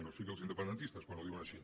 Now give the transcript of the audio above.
o sigui els independentistes quan ho diuen així